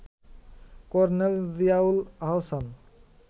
colonel Ziaul Ahsan